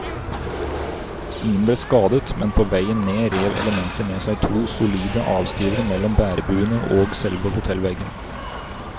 Ingen ble skadet, men på veien ned rev elementet med seg to solide avstivere mellom bærebuene og selve hotellveggen.